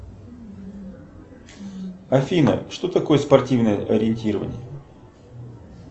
афина что такое спортивное ориентирование